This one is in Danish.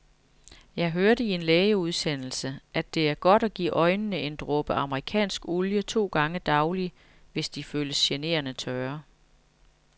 Jeg hørte i en lægeudsendelse, at det er godt at give øjnene en dråbe amerikansk olie to gange daglig, hvis de føles generende tørre.